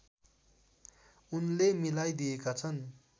उनले मिलाइदिएका छन्